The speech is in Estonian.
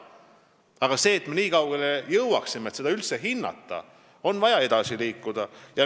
Selleks, et me üldse nii kaugele jõuaksime, et seda hinnata, on vaja edasi liikuda.